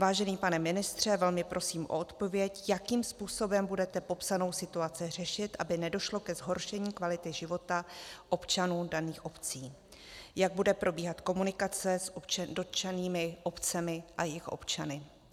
Vážený pane ministře, velmi prosím o odpověď, jakým způsobem budete popsanou situaci řešit, aby nedošlo ke zhoršení kvality života občanů daných obcí, jak bude probíhat komunikace s dotčenými obcemi a jejich občany.